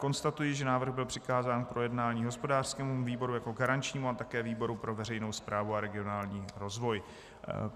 Konstatuji, že návrh byl přikázán k projednání hospodářskému výboru jako garančnímu a také výboru pro veřejnou správu a regionální rozvoj.